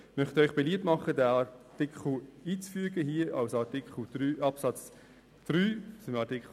Ich möchte dem Rat beliebt machen, den Absatz als Absatz 3 in Artikel 20 in das Gesetz einzufügen.